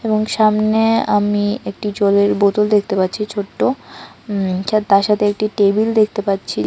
এবং সামনে আমি একটি জলের বোতল দেখতে পাচ্ছি ছোট্ট উম তার সাথে একটি টেবিল দেখতে পাচ্ছি।